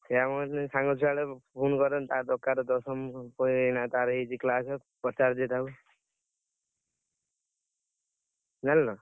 ସେୟା ମୁଁ କହିଲି ସାଙ୍ଗ ଛୁଆ ଟାକୁ, phone କରେ ତାର ଦରକାର ଦଶମ ବହି ବହି ଏଇନା ତାର ହେଇଚି class ପଚାରି ଦିଏ ତାକୁ। ଜାଣିଲ